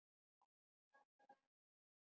Hvað var að honum?